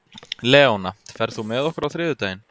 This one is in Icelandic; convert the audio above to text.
Leóna, ferð þú með okkur á þriðjudaginn?